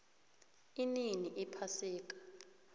inini iphasika